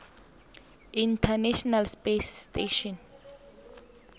international space station